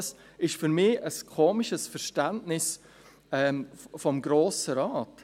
Das ist für mich ein komisches Verständnis des Grossen Rates.